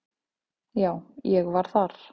Já, ég var þar.